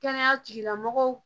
Kɛnɛya tigilamɔgɔw